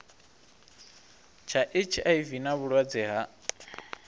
tsha hiv na vhulwadze ha